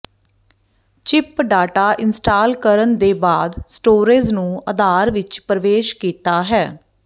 chip data install ਕਰਨ ਦੇ ਬਾਅਦ ਸਟੋਰੇਜ਼ ਨੂੰ ਅਧਾਰ ਵਿੱਚ ਪ੍ਰਵੇਸ਼ ਕੀਤਾ ਹੈ